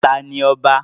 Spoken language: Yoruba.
ta ni ọba?